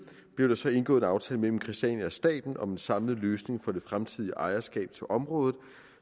blev der så indgået en aftale mellem christiania og staten om en samlet løsning for det fremtidige ejerskab til området